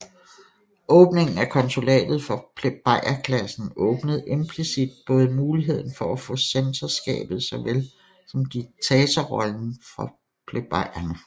Åbningen af konsulatet for plebejerklassen åbnede implicit både muligheden for at få censorskabet såvel som diktatorrollen for plebejerne